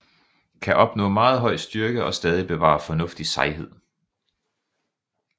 Kan opnå meget høj styrke og stadig bevare fornuftig sejhed